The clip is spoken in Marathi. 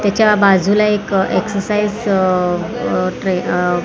त्याच्या बाजूला एक एक्सरसाईज अ अ ट्रे --